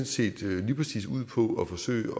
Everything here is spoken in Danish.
set lige præcis ud på at forsøge